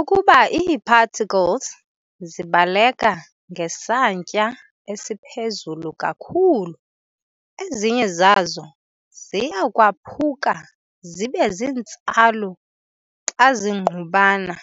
Ukuba ii-particles zibaleka ngesantya esiphezulu kakhulu, ezinye zazo ziyakwaphuka zibezintsalu xa zingqubana.